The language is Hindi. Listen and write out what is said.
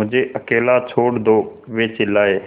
मुझे अकेला छोड़ दो वे चिल्लाए